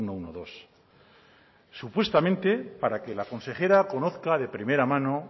ehun eta hamabi supuestamente para que la consejera conozca de primera mano